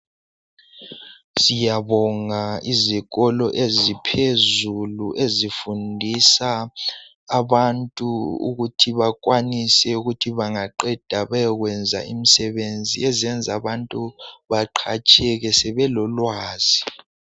Siyabonga izikolo eziphezulu ezifundisa abantu ukuthi bakwanise kuthi bangaqeda beyokwenza imsebenzi eziyenza abantu baqatsheke sebelolwazi